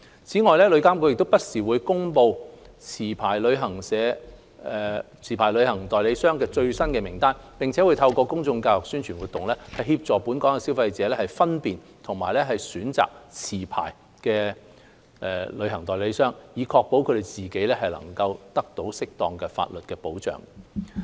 此外，旅監局亦會不時公布持牌旅行代理商的最新名單，並透過公眾教育、宣傳活動等，協助本港消費者分辨及選擇持牌的旅行代理商，以確保自己得到適當的法例保障。